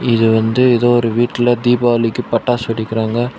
இது வந்து ஏதோ ஒரு வீட்ல தீபாவளிக்கு பட்டாசு வெடிக்குறாங்க.